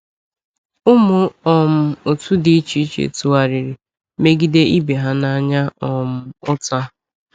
Ụmụ um otu dị iche iche tụgharịrị megide ibe ha n’anya um ụta.